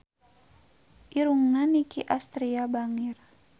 Irungna Nicky Astria bangir